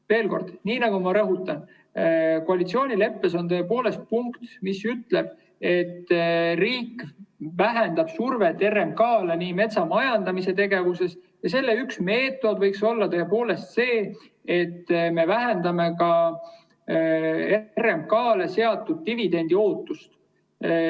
Veel kord: nii nagu ma rõhutasin, koalitsioonileppes on tõepoolest punkt, mis ütleb, et riik vähendab metsamajandamises survet RMK‑le ja selle üks meetodeid võiks olla tõepoolest see, et me vähendame ka RMK‑le seatud dividendiootust.